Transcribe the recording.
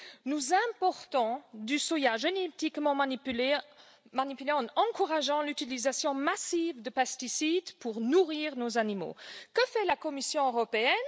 Nous importons du soja génétiquement manipulé en encourageant l'utilisation massive de pesticides pour nourrir nos animaux. Que fait la Commission européenne?